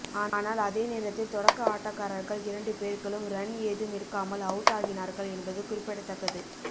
ஆனால் அதே நேரத்தில் தொடக்க ஆட்டக்காரர்கள் இரண்டு பேர்களும் ரன் ஏதும் எடுக்காமல் அவுட் ஆகினார்கள் என்பது குறிப்பிடத்தக்கது